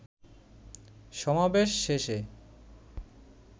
সমাবেশ শেষে